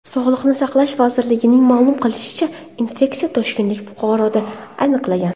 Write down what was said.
Sog‘liqni saqlash vazirligining ma’lum qilishicha , infeksiya toshkentlik fuqaroda aniqlangan.